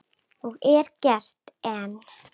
Og er gert enn.